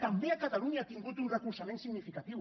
també a catalunya ha tingut un recolzament significatiu